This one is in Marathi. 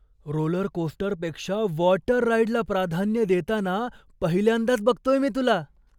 रोलरकोस्टरपेक्षा वॉटर राइडला प्राधान्य देताना पहिल्यांदाच बघतोय मी तुला!